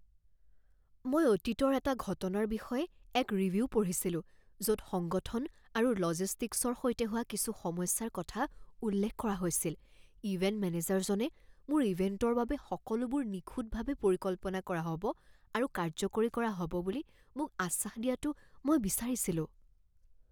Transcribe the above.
মই অতীতৰ এটা ঘটনাৰ বিষয়ে এক ৰিভিউ পঢ়িছিলো য'ত সংগঠন আৰু লজিষ্টিকছৰ সৈতে হোৱা কিছু সমস্যাৰ কথা উল্লেখ কৰা হৈছিল। ইভেণ্ট মেনেজাৰজনে মোৰ ইভেণ্টৰ বাবে সকলোবোৰ নিখুঁতভাৱে পৰিকল্পনা কৰা হ'ব আৰু কাৰ্যকৰী কৰা হ'ব বুলি মোক আশ্বাস দিয়াটো মই বিচাৰিছিলোঁ।